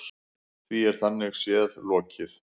Því er þannig séð lokið.